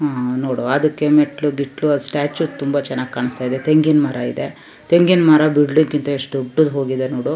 ಉಹ್ ನೋಡು ಅದಕ್ಕೆ ಮೆಟ್ಲಲು ಗಿಟ್ಲು ಆ ಸ್ಟ್ಯಾಚು ತುಂಬಾ ಚನ್ನಾಗಿ ಕಾಣಸ್ತಾ ಇದೆ ತೆಂಗಿನ ಮರ ಇದೆ ತೆಂಗಿನ ಮರ ಬಿಡಲ್ಲಿಕ್ಕೆ ಎಷ್ಟು ದೊಡ್ಡ ಹೋಗಿದೆ ನೋಡು .